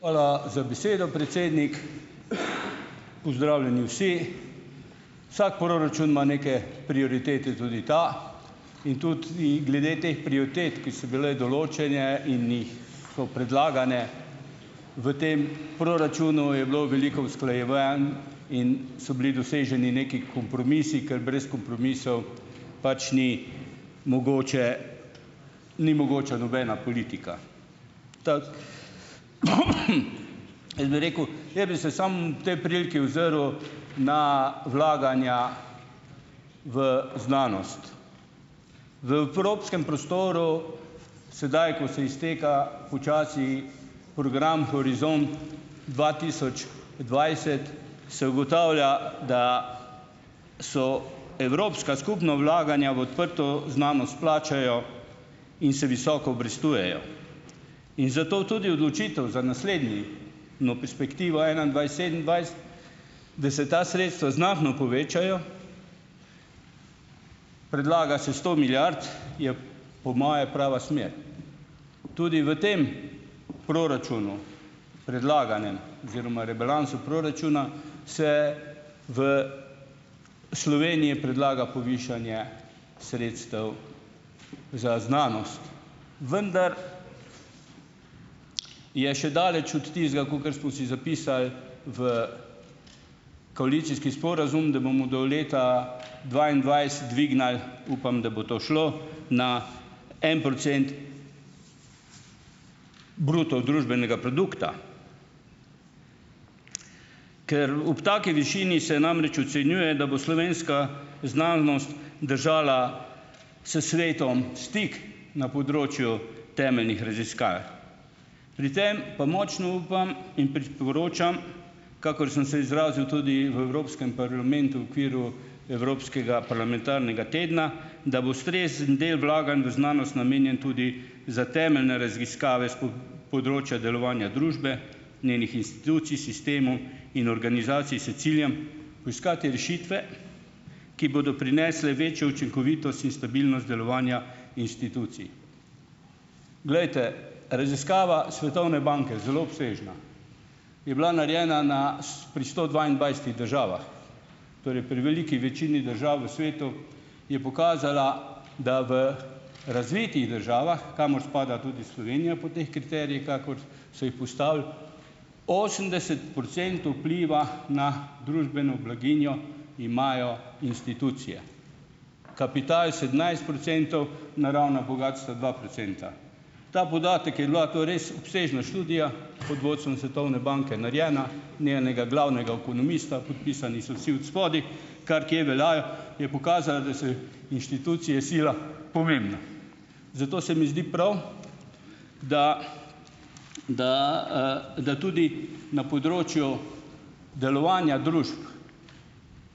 Velja za besedo, predsednik. Pozdravljeni vsi! Vsak proračun ima neke prioritete. Tudi ta. In tudi i glede teh prioritet, ki so bile določene in jih, so predlagane. V tem proračunu je bilo veliko usklajevanj in so bili doseženi neki kompromisi, ker brez kompromisov pač ni mogoče, ni mogoča nobena politika. Tako ... Jaz bi rekel, jaz bi se samo tej priliki ozrl na vlaganja v znanost. V evropskem prostoru sedaj, ko se izteka počasi program Horizon dva tisoč dvajset, se ugotavlja, da so evropska skupna vlaganja v odprto znanost plačajo in se visoko obrestujejo in zato tudi odločitev za naslednji no perspektivo enaindvajset-sedemindvajset, da se ta sredstva znatno povečajo, predlaga se sto milijard, je po moje prava smer. Tudi v tem proračunu, predlaganem, oziroma rebalansu proračuna se v Sloveniji predlaga povišanje sredstev za znanost, vendar je še daleč od tistega, kakor smo si zapisali v koalicijski sporazum, da bomo do leta dvaindvajset dvignili, upam, da bo to šlo, na en procent bruto družbenega produkta. Ker ob taki višini se namreč ocenjuje, da bo slovenska znanost držala s svetom stik na področju temeljnih raziskav. Pri tem pa močno upam in priporočam, kakor sem se izrazil tudi v evropskem parlamentu, okviru Evropskega parlamentarnega tedna, da bo ustrezen del vlaganj v znanost namenjen tudi za temeljne raziskave s področja delovanja družbe, njenih institucij, sistemu in organizacij s ciljem poiskati rešitve, ki bodo prinesle večjo učinkovitost in stabilnost delovanja institucij. Glejte, raziskava Svetovne banke, zelo obsežna, je bila narejena na pri sto dvaindvajsetih državah, torej pri veliki večini držav v svetu, je pokazala, da v razvitih državah, kamor spada tudi Slovenija po teh kriterijih, kakor so ji postavili, osemdeset procentov vpliva na družbeno blaginjo imajo institucije, kapital sedemnajst procentov, naravna bogastva dva procenta. Ta podatek, je bila to res obsežna študija, pod vodstvom Svetovne banke narejena, njenega glavnega ekonomista, podpisani so vsi odspodaj, kar kje velja, je pokazala, da so inštitucije sila pomembne. Zato se mi zdi prav, da, da, da tudi na področju delovanja družb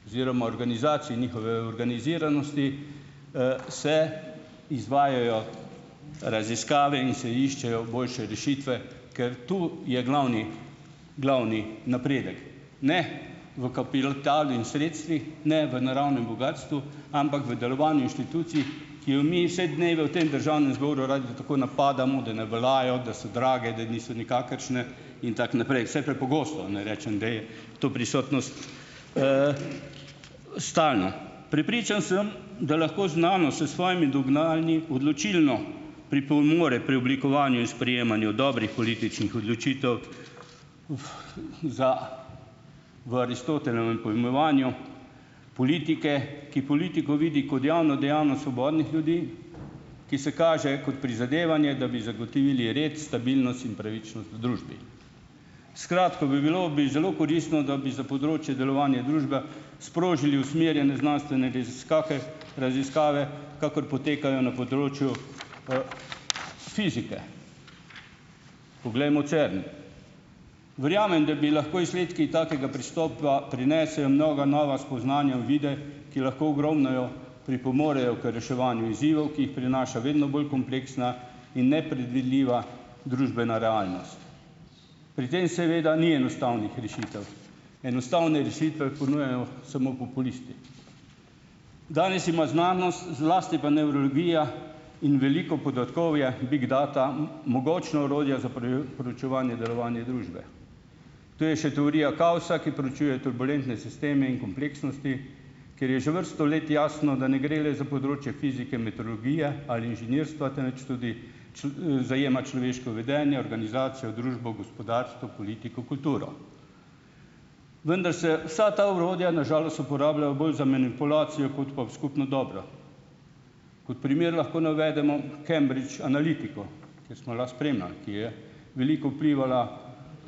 oziroma organizacij, njihove organiziranosti, se izvajajo raziskave in se iščejo boljše rešitve, ker to je glavni glavni napredek. Ne v kapital in sredstvih, ne v naravnem bogastvu, ampak v delovanju inštitucij, ki jo mi vse dnevne v tem državnem zboru radi tako napadamo, da ne veljajo, da so drage, da niso nikakršne, in tako naprej, vsaj prepogosto, ne rečem, da je to prisotnost, stalna. Prepričan sem, da lahko znanost s svojimi dognanji odločilno pripomore pri oblikovanju in sprejemanju dobrih političnih odločitev za, v Aristotelovem pojmovanju politike, ki politiko vidi kot javno dejavnost svobodnih ljudi, ki se kaže kot prizadevanje, da bi zagotovili red, stabilnost in pravičnost v družbi. Skratka, bi bilo bi zelo koristno, da bi za področje delovanja družbe sprožili usmerjene znanstvene raziskake raziskave, kakor potekajo na področju fizike. Poglejmo CERN. Verjamem, da bi lahko izsledki takega pristopa prinesejo mnoga nova spoznanja, uvide, ki lahko ogromno pripomorejo k reševanju izzivov, ki jih prinaša vedno bolj kompleksna in nepredvidljiva družbena realnost. Pri tem seveda ni enostavnih rešitev. Enostavne rešitve ponujajo samo populisti. Danes ima znanost, zlasti pa nevrologija in veliko podatkovje, big data, mogočno orodje za preučevanje delovanja družbe. Tu je še teorija kaosa, ki proučuje turbulentne sisteme in kompleksnosti, kjer je že vrsto let jasno, da ne gre le za področje fizike, ali inženirstva, temveč tudi zajema človeško vedenje, organizacijo, družbo, gospodarstvo, politiko, kulturo. Vendar se vsa ta orodja na žalost uporabljajo bolj za manipulacijo kot pa v skupno dobro. Kot primer lahko navedemo Cambdrige Analytico, ker smo lahko spremljali, ki je veliko vplivala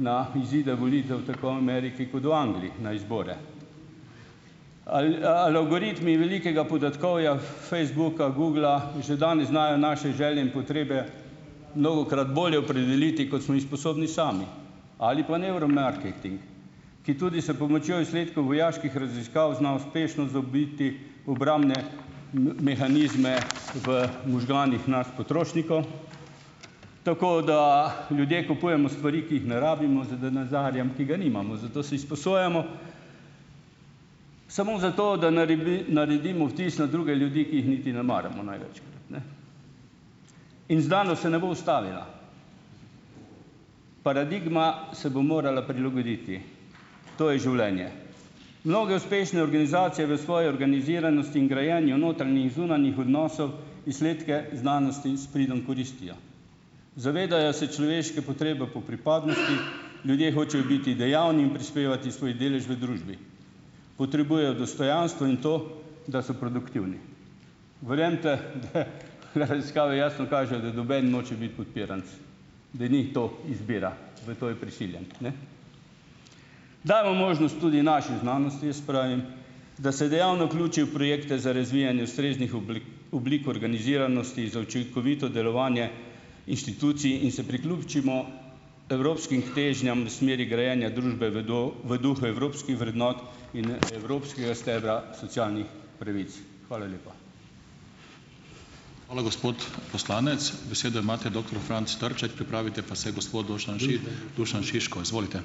na izide volitev tako Ameriki kot u Angliji na izbore. Ali algoritmi velikega podatkovja, Facebooka, Googla, že danes znajo naše želje in potrebe mnogokrat bolje opredeliti, kot smo jih sposobni sami, ali pa nevromarketing, ki tudi s pomočjo izsledkov vojaških raziskav zna uspešno zabiti obrambne mehanizme v možganih nas potrošnikov , tako da ljudje kupujemo stvari, ki jih ne rabimo, z z denarjem, ki ga nimamo. Zato si sposojamo samo zato, da naredimo vtis na druge ljudi, ki jih niti ne maramo, največ, ne. In znanost se ne bo ustavila, paradigma se bo morala prilagoditi, to je življenje. Mnoge uspešne organizacije v svoji organiziranosti in grajenju notranjih zunanjih odnosov izsledke znanosti s pridom koristijo, zavedajo se človeške potrebe po pripadnosti, ljudje hočejo biti dejavni in prispevati svoj delež v družbi. Potrebujejo dostojanstvo in to, da so produktivni. Verjemite, da raziskave jasno kažejo, da noben noče biti podpiranec, da ni to izbira, v to je prisiljen, ne. Damo možnost tudi naši znanosti, jaz pravim, da se dejavno vključi v projekte za razvijanje ustreznih oblik organiziranosti za učinkovito delovanje inštitucij in se priključimo evropskim težnjam smeri grajenja družbe v v duhu evropskih vrednot in evropskega stebra socialnih pravic. Hvala lepa.